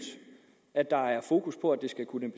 at der er fokus på at det skal kunne